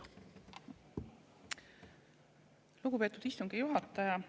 Lugupeetud istungi juhataja!